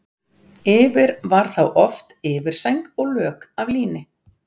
Yfir var þá oft yfirsæng og lök af líni.